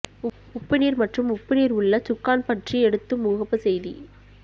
உப்பு நீர் மற்றும் உப்பு நீர் உள்ள சுக்கான் பற்றி எடுத்து முகப்பு செய்தி